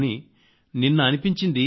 కానీ నిన్న అనిపించింది